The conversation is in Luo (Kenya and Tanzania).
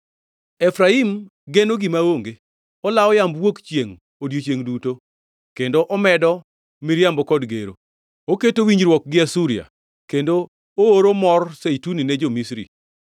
Efraim geno gima onge, olawo yamb wuok chiengʼ odiechiengʼ duto, kendo omedo miriambo kod gero. Oketo winjruok gi Asuria kendo ooro mor zeituni ne jo-Misri.